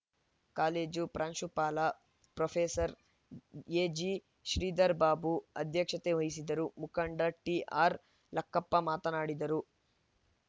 college ಪ್ರಾಂಶುಪಾಲ professor A G Sridharbabu ಅಧ್ಯಕ್ಷತೆ ವಹಿಸಿದ್ದರು ಮುಖಂಡ ಟಿಆರ್‌ ಲಕ್ಕಪ್ಪ ಮಾತನಾಡಿದರು